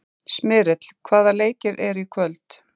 Smyrill, hvaða leikir eru í kvöld?